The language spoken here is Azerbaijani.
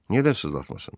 Niyə də sızlatmasın?